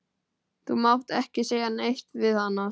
Þú mátt ekki segja neitt við hana.